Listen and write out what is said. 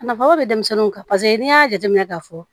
Nafa dɔ bɛ denmisɛnninw kan paseke n'i y'a jateminɛ k'a fɔ